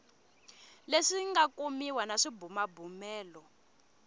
leswi nga kumiwa na swibumabumelo